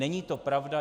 Není to pravda.